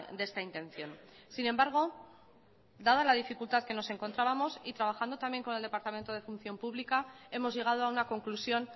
de esta intención sin embargo dada la dificultad que nos encontrábamos y trabajando también con el departamento de función pública hemos llegado a una conclusión